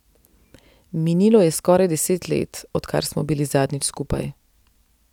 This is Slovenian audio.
Minilo je skoraj deset let, odkar smo bili zadnjič skupaj.